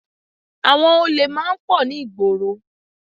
Àwọn olè máa ń pọ̀ ní ìgboro